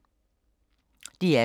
DR2